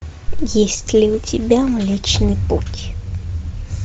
есть ли у тебя млечный путь